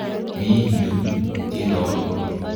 Mi yu Tirop.